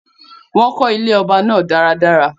Wọ́n kó ilé ọba náà dáradára